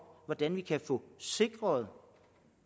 hvordan vi kan få sikret